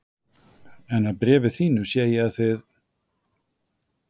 En af bréfi þínu sé ég að þið